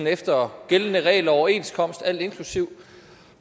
efter gældende regler og overenskomst alt inklusive